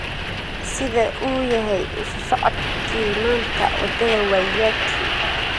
sida uu yahay isu socodkii maanta wadada waiyaki